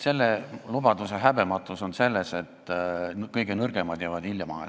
Selle lubaduse häbematus on selles, et kõige nõrgemad jäävad ilma.